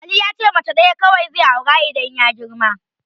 Ali yace mace ɗaya kawai zai aura idan ya girma.